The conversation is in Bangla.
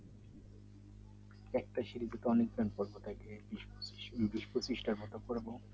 একটা সিরিজে কেমন কেমন গল্প থাকে